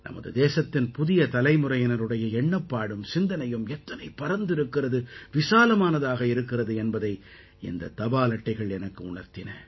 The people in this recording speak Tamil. நமது தேசத்தின் புதிய தலைமுறையினருடைய எண்ணப்பாடும் சிந்தனையும் எத்தனை பரந்திருக்கிறது விசாலமானதாக இருக்கிறது என்பதை இந்தத் தபால் அட்டைகள் எனக்கு உணர்த்தின